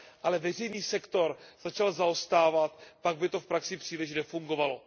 ale veřejný sektor začal zaostávat, pak by to v praxi příliš nefungovalo.